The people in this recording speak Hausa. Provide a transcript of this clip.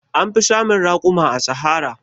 An fi samun raƙuma a Sahara.